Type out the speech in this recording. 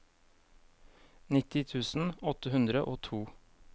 nitti tusen åtte hundre og to